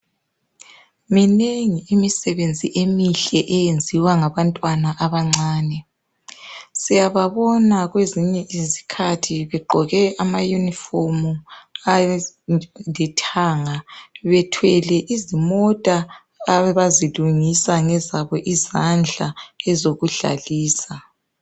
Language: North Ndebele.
Minengi imisebenzi emihle eyenziwa ngabantwana abancane , siyababona kwezinye izikhathi begqoke amauniform ayabe elithanga bethwele izimota abazilungisa ngezabo izandla